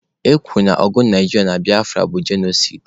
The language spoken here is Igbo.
E kwuru na ọgụ Naijiria na Biafra bụ genosaịdị.